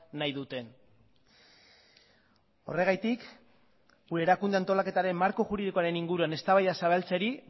nahi duten horregatik gure erakunde antolaketaren marko juridikoaren inguruan eztabaida zabaltzerik